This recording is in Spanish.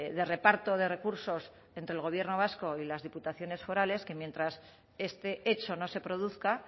de reparto de recursos entre el gobierno vasco y las diputaciones forales que mientras este hecho no se produzca